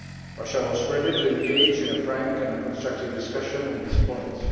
Russia was ready to engage in a frank and constructive discussion on these points.